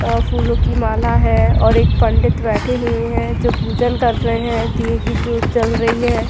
और फूलों की माला है और एक पंडित बैठे हुए हैं जो पूजन कर रहे हैं दिए कि जोत जल रही है।